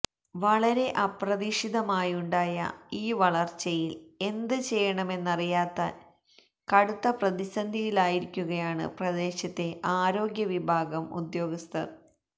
വളരെ അപ്രതീക്ഷിതമായുണ്ടായ ഈ വളര്ച്ചയില് എന്ത് ചെയ്യണമെന്നറിയാതെ കടുത്ത പ്രതിസന്ധിയിലായിരിക്കുകയാണ് പ്രദേശത്തെ ആരോഗ്യ വിഭാഗം ഉദ്യോഗസ്ഥര്